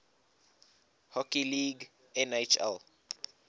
hockey league nhl